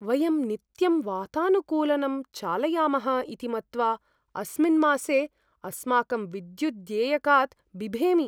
वयं नित्यं वातानुकूलनं चालयामः इति मत्वा अस्मिन् मासे अस्माकं विद्युद्देयकात् बिभेमि।